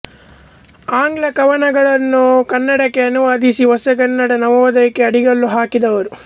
ಆಂಗ್ಲ ಕವನಗಳನ್ನು ಕನ್ನಡಕ್ಕೆ ಅನುವಾದಿಸಿ ಹೊಸಗನ್ನಡದ ನವೋದಯಕ್ಕೆ ಅಡಿಗಲ್ಲು ಹಾಕಿದವರು